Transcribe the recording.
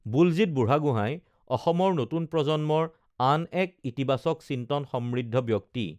বুলজিৎ বুঢ়াগোঁহাই অসমৰ নতুন প্ৰজন্মৰ আন এক ইতিবাচক চিন্তনসমৃদ্ধ ব্যক্তি